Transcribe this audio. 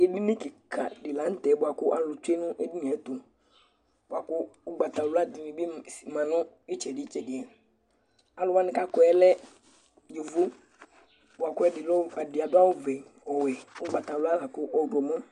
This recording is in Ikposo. Edini ki ka di la nu tɛ bua ku alu tsue nu edinie tu bua ku ugbata wla di ni bi si ma nu itsɛdi tsɛdiAlu wani ka kɔɛ lɛ ivu bua kɛ di adu awu vɛ, ɔwɛ, ugbata wla la ku ɔdumu